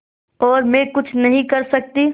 और मैं कुछ नहीं कर सकती